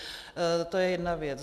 To je jedna věc.